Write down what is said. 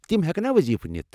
تِم ہٮ۪کنا وضیفہٕ نِتھ ؟